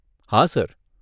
હા સર.